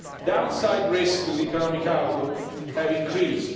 Downside risks to the economic outlook have increased.